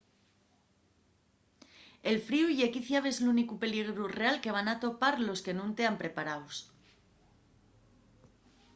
el fríu ye quiciabes l’únicu peligru real que van atopar los que nun tean preparaos